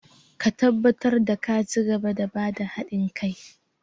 Ka tabbatar da ka cigaba da ba da hadin kai!